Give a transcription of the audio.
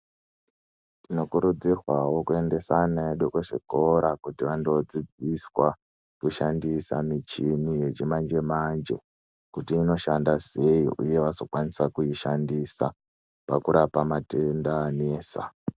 Tinokurudzirwawo kuendesa ana edu kuzvikora kuti andodzidziswa kushandisa michini yechimanje manje kuti inoshanda sei uye vazokwanisa kuishandisa pakurapa matenda anetsa.